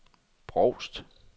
Brovst